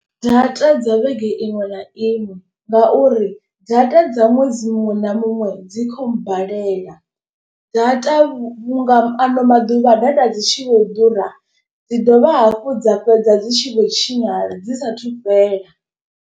Data dza vhege iṅwe na iṅwe ngauri data dza ṅwedzi muṅwe na muṅwe dzi khou mbalela. Data vhunga ano maḓuvha data dzi tshi vho ḓura dzi dovha hafhu dza fhedza dzi tshi vho tshinyala dzi sathu fhela.